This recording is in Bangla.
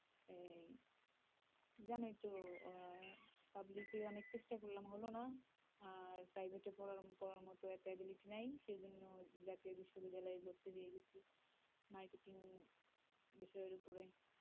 জানোই তো আহ public এ অনেক চেষ্টা করলাম হল না। আর private এ পড়ার পড়ার মতো এত ability নেই। সে জন্য জাতীয় বিশ্ববিদ্যালয়ে ভর্তি হয়ে গিয়েছি marketing বিষয় এর উপরে।